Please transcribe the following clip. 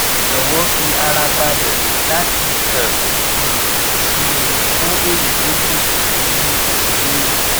jọwọ fi ara balẹ láti kàn um sí mi fún èyí tó kù ní ní ìbéèrè